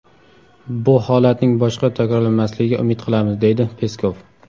Bu holatning boshqa takrorlanmasligiga umid qilamiz”, deydi Peskov.